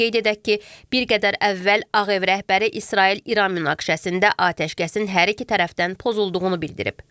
Qeyd edək ki, bir qədər əvvəl Ağ Ev rəhbəri İsrail-İran münaqişəsində atəşkəsin hər iki tərəfdən pozulduğunu bildirib.